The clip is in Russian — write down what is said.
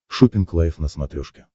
шоппинг лайф на смотрешке